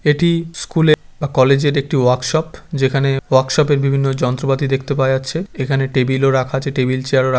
এটি স্কুল -এ বা কলেজ -এর একটি ওয়াক শপ । যেখানে ওয়াক শপ বিভিন্ন যন্ত্রপাতি দেখতে পাওয়া যাচ্ছে। এখানে টেবিল -ও রাখা আছে টেবিল চেয়ার রা--